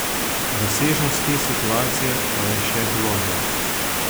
Razsežnost te situacije pa je še globlja.